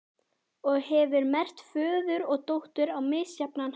Og hefur merkt föður og dóttur á misjafnan hátt.